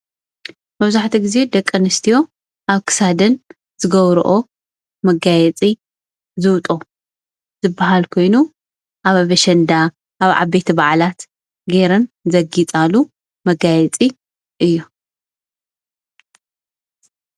መብዛሕትኡ ግዜ ደቂ ኣነስትዮ ኣብ ክሳደን ዝገብረኦ መጋየፂ ዝብጦ ዝበሃል ኮይኑ ኣብ ኣሸንዳ ኣብ ዓበይቲ በዓላት ጌረን ዘግይፃሉ መጋየፂ እዩ፡፡